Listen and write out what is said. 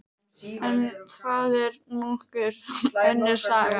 En það er nú önnur saga.